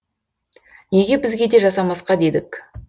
неге бізге де жасамасқа дедік